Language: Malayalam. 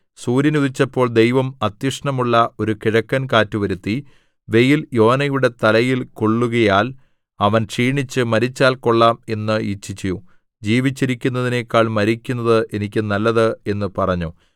സൂര്യൻ ഉദിച്ചപ്പോൾ ദൈവം അത്യഷ്ണമുള്ള ഒരു കിഴക്കൻകാറ്റ് വരുത്തി വെയിൽ യോനയുടെ തലയിൽ കൊള്ളുകയാൽ അവൻ ക്ഷീണിച്ച് മരിച്ചാൽ കൊള്ളാം എന്ന് ഇച്ഛിച്ചു ജീവിച്ചിരിക്കുന്നതിനെക്കാൾ മരിക്കുന്നത് എനിക്ക് നല്ലത് എന്ന് പറഞ്ഞു